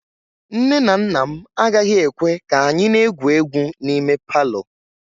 Nne na nna m agaghị ekwe ka anyị na-egwu egwu n'ime palọ